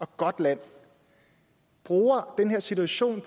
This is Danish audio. godt land bruger den her situation